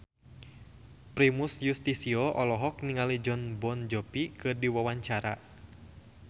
Primus Yustisio olohok ningali Jon Bon Jovi keur diwawancara